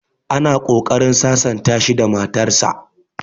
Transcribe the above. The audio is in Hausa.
Ana ƙoƙarin sasanta shi da matar sa